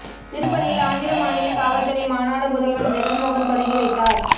திருப்பதியில் ஆந்திர மாநில காவல் துறை மாநாடு முதல்வா் ஜெகன் மோகன் தொடங்கி வைத்தாா்